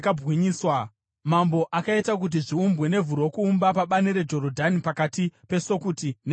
Mambo akaita kuti zviumbwe nevhu rokuumba pabani reJorodhani pakati peSukoti neZaretani.